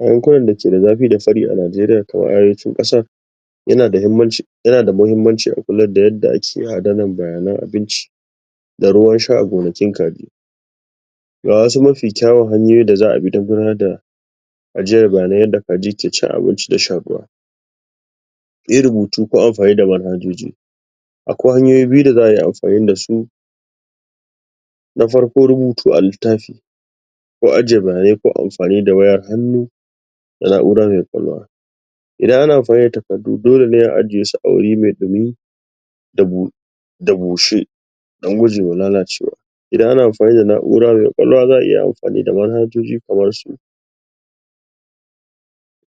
A yankunan da ke da zafi da sari a Niajeriya ta Arewacin ƙasar, yana da muhimmanci, yana da muhimmanci akula da yadda ake adanar bayanan abinci. Da ruwansha a gonakin kaji. Ga wasu mafi kyawun hanyoyin da za a don gudanar da ajiyar bayanai yadda kaji ke cin abinci da shan ruwa. Yin rubutu ko amfani da manhajoji. Akwai hanyoyi biyu da za a yi amfani da su Na farko rubutu a littafi. ko aje bayanai ko amfani da wayar hannu, ko na'ura mai ƙwaƙwalwa. Idan ana amfani da takardu dole a aje shi a waje mai ɗumi da bushe, don gujewa lalacewa. Iadan ana amfani da na'ura mai ƙwaƙwalwa za a iya amfani da manhajoji kamar su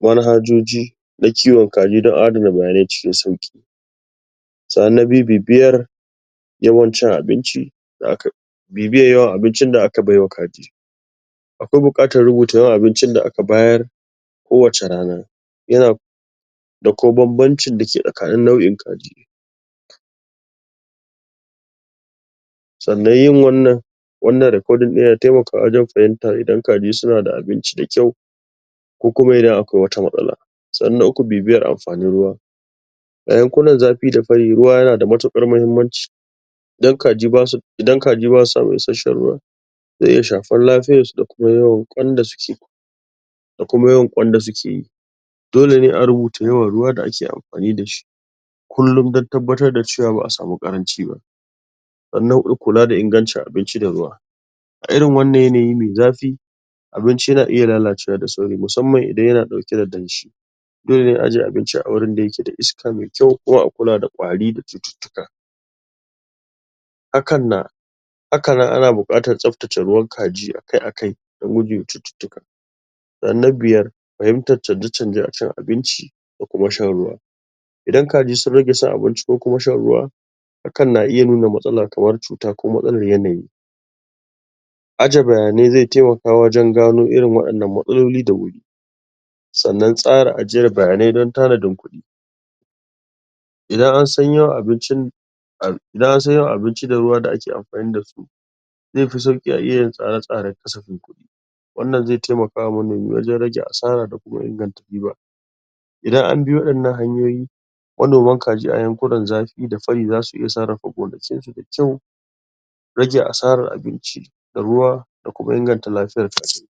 Manhajoji na kiwon kaji don adana bayanai cikin sauƙi. Sannan na biyu, bibiyar yawan cin abinci da aka bibiyar yawan abincin da aka bai wa kaji. Akwai buƙatar rubuta yawan abincin da aka bayar kowace rana. Yana da kuma banbancin da ke tsakanin nau'in kaji. sannan yin wannan, wannan recording yana taimakawa wajen fahimta idan kaji suna da abinci da kyau ko kuma idan akwai wata matsala. Sannan na uku bibiyar amfanin ruwa A yankunan zafi da fari ruwa yana da matuƙar muhimmanci. Idan kaji ba su samun isasshen ruwa zai iya shafar lafiyarsu da kuma yawan ƙwan da suke da kuma yawan ƙwan da suke yi. Dole ne a rubuta yawan ruwa da ake amfani da shi kullum dan tabbatar da cewa ba a samu ƙaranci ba. Sannan a riƙa kula da ingancin abinci da ruwa. A irin wanan yanayi mai zafi Abinci yana iya lalacewa da sauri musamman idan yana ɗauke da damshi. Dole na a aje abinci a wurin da yake da iska mai kyau, kuma a kula da ƙwari da cututtuka. hakan na haka nan ana buƙatar tsabtace ruwan kaji akai-akai don gujewa cututtuka. Na biyar fahimtar canje-canje a cin abinci da shan ruwa. idan kaji sun rage cin abinci ko shan rurwa, hakan na iya nuna matsala kamar cuta ko matsalar yanayi. Aje bayanai zai taimaka wajen gano irin waɗannan matsaloli da wuri. sannan tsara ajiyar bayanai don tanadin kuɗi. Idan an san yawan abincin da ruwa da ake amfani da su, zai fi sauƙi a iya yin tsare-tsare da kasafin kuɗi, wannan zai taimaka wa manomi wajen rage asara da inganta riba. Idan an bi waɗannan hanyoyi, Manoman kaji a yankunan za su ida sani, za su iya sarrafa gonakinsu da kyau rage asara abinci da ruwa da kuma inganta lafiyar kajin.